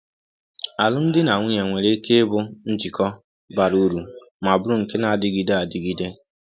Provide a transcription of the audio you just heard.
Alụmdi na nwunye nwere ike ịbụ njikọ bara uru ma bụrụ nke na-adịgide adịgide.